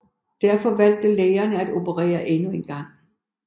Derfor valgte lægerne at operere endnu en gang